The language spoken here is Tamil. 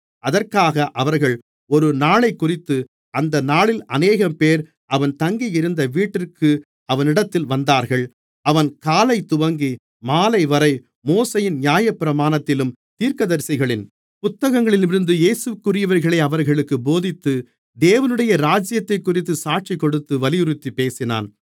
அதற்காக அவர்கள் ஒரு நாளைக்குறித்து அந்த நாளில் அநேகம்பேர் அவன் தங்கியிருந்த வீட்டிற்கு அவனிடத்தில் வந்தார்கள் அவன் காலைதுவங்கி மாலைவரை மோசேயின் நியாயப்பிரமாணத்திலும் தீர்க்கதரிசிகளின் புத்தகங்களிலிருந்தும் இயேசுவிற்குரியவைகளை அவர்களுக்குப் போதித்து தேவனுடைய ராஜ்யத்தைக்குறித்துச் சாட்சிக்கொடுத்து வலியுறுத்திப் பேசினான்